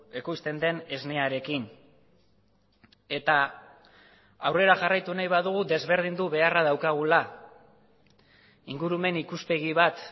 ekoizten den esnearekin eta aurrera jarraitu nahi badugu desberdindu beharra daukagula ingurumen ikuspegi bat